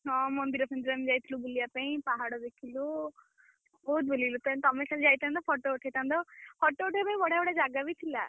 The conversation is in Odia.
ହଁ ମନ୍ଦିର ଫନ୍ଦିର ଆମେ ଯାଇଥିଲୁ ବୁଲିବା ପାଇଁ ପାହାଡ ଦେଖିଲୁ। ବହୁତ୍ ବୁଲିଲୁ ତମେ ଖାଲି ଯାଇଥାନ୍ତ photo ଉଠେଇଥାନ୍ତ photo ଉଠେଇବା ପାଇଁ ବଢିଆ ବଢିଆ ଜାଗା ବି ଥିଲା।